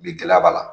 Bi gɛlɛya b'a la